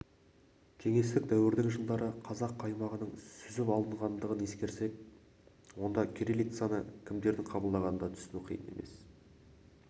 кеңестік дәуірдің жылдары қазақ қаймағының сүзіп алынғандығын ескерсек онда жылы кириллицаны кімдердің қабылдағанын да түсіну қиын емес